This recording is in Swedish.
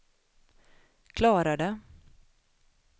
klarade